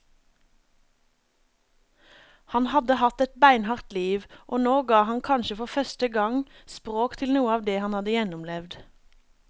Han hadde hatt et beinhardt liv, og nå ga han kanskje for første gang språk til noe av det han hadde gjennomlevd.